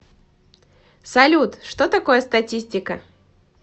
салют что такое статистика